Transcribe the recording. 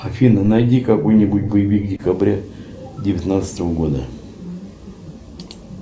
афина найди какой нибудь боевик декабря девятнадцатого года